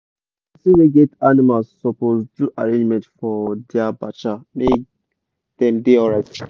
person wey get animal suppose do arrangement for dia bacha make dem da alright